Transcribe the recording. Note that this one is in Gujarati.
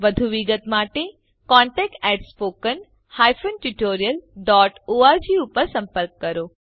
વધુ વિગતો માટે contactspoken tutorialorg પર સંપર્ક કરો